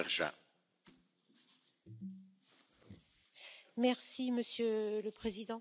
Monsieur le Président, les débats sur la Libye sont toujours un peu surréalistes.